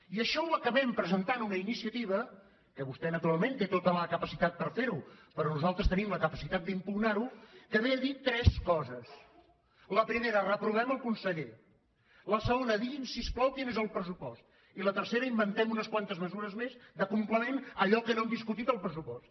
i això ho acabem presentant una iniciativa que vostè naturalment té tota la capacitat per ferho però nosaltres tenim la capacitat d’impugnarho que ve a dir tres coses la primera reprovem el conseller la segona digui’m si us plau quin és el pressupost i la tercera inventem unes quantes mesures més de complement a allò que no hem discutit al pressupost